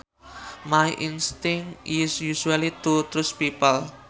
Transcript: My instinct is usually to trust people